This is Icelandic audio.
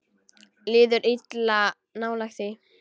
Líður illa nálægt því.